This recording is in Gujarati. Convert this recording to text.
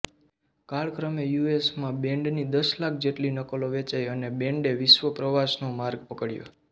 કાળક્રમે યુએસમાં બેન્ડની દસ લાખ જેટલી નકલો વેચાઇ અને બેન્ડે વિશ્વપ્રવાસનો માર્ગ પકડ્યો